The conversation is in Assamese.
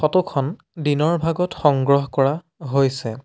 ফটো খন দিনৰ ভাগত সংগ্ৰহ কৰা হৈছে।